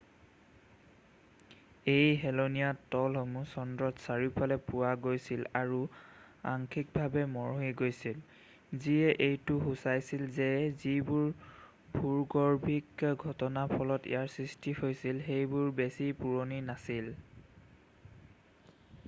এই হেলনীয়া তলসমূহ চন্দ্ৰত চাৰিওফালে পোৱা গৈছিল আৰু অংশীকভাৱে মৰহি গৈছিল যিয়ে এইটো সুচাইছিল যে যিবোৰ ভূগৰ্ভীক ঘটনাৰ ফলত ইয়াৰ সৃষ্টি হৈছিল সেইবোৰ বেছি পুৰণি নাছিল